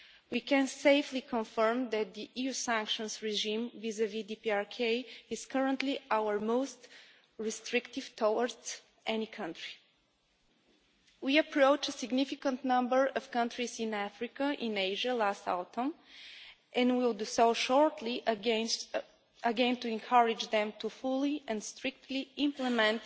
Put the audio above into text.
We can safely confirm that the EU sanctions regime vis vis DPRK is currently our most restrictive towards any country. We approached a significant number of countries in Africa, in Asia last autumn, and will do so shortly again to encourage them to fully and strictly implement